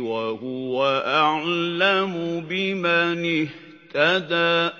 وَهُوَ أَعْلَمُ بِمَنِ اهْتَدَىٰ